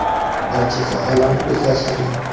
Barcha sohalarni o‘zlashtirgan.